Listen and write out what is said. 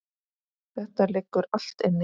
Þetta liggur allt inni